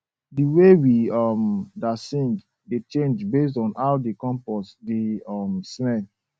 di way we um da sing dey change based on how di compost dey um smell